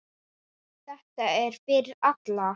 Þetta er fyrir alla.